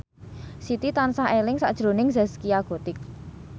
Siti tansah eling sakjroning Zaskia Gotik